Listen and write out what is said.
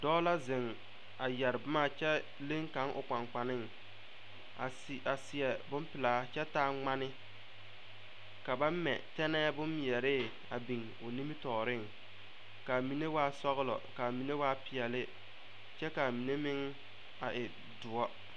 Dɔɔ la zeŋ a yɛre boma kyɛ leŋ kaŋ o kpankpaneŋ a se a seɛ bonpelaa kyɛ taa ŋmane ka ba mɛ tɛnɛɛ bommeɛre a biŋ o nimitɔɔreŋ ka a mine waa sɔglɔ ka a mine waa peɛlle kyɛ ka a mine meŋ a e doɔ.